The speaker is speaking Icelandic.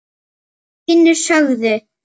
Vinnu laun greidd.